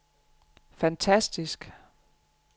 fantastisk